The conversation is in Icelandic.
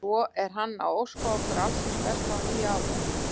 Og svo er hann að óska okkur alls hins besta á nýja árinu.